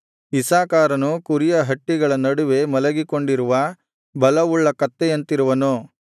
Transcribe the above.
ಇಸ್ಸಾಕಾರನು ಕುರಿಯ ಹಟ್ಟಿಗಳ ನಡುವೆ ಮಲಗಿಕೊಂಡಿರುವ ಬಲವುಳ್ಳ ಕತ್ತೆಯಂತಿರುವನು